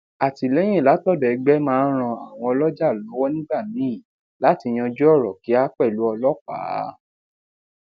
atìléyìn látòdò egbe máa ń ran àwọn oloja lówó nígbà míì láti yanju oro kia pelu ọlópàá